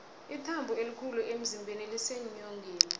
ithambo elikhulu emzimbeni liseenyongeni